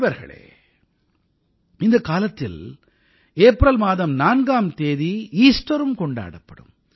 நண்பர்களே இந்தக் காலத்தில் ஏப்ரல் மாதம் 4ஆம் தேதி ஈஸ்டரும் கொண்டாடப்படும்